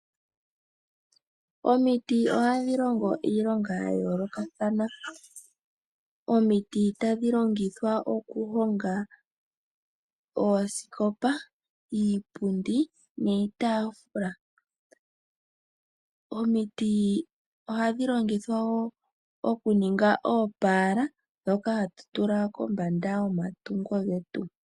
Omiti ohadhi longo iilonga yayoloka thana, omiti tadhilongithwa okuhonga oosikopa, iipundi, niitafula, omiti ohadhi longithwa wo okuninga eepala dhoka hatutula pombanda yomatungo getu.